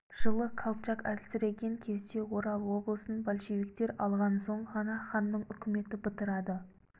жылы колчак әлсіреген кезде орал облысын большевиктер алған соң ғана ханның үкіметі бытырады